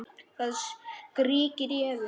Það skríkir í Evu.